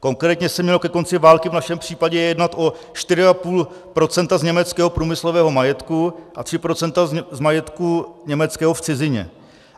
Konkrétně se mělo ke konci války v našem případě jednat o 4,5 % z německého průmyslového majetku a 3 % z majetku německého v cizině.